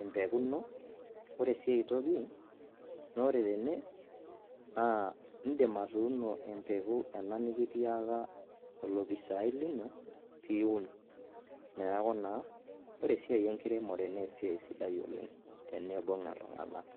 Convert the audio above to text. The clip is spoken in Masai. empeku ino. Ore sii ai toki naa ore tene naa indim atuuno empeku ena nekitiaka olopisaai lino piun. Neeku naa ore esia enkiremore naa esiai sidai oleng' teniibung' iltung'anak.